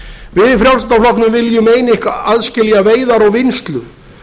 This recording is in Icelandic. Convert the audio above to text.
við í frjálslynda flokknum viljum aðskilja veiðar og vinnslu